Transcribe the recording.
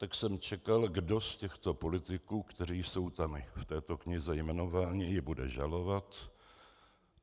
Tak jsem čekal, kdo z těchto politiků, kteří jsou tam v této knize jmenováni, ji bude žalovat.